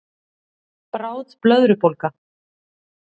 Bráð blöðrubólga